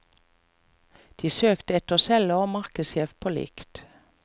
De søkte etter selger og markedssjef på likt.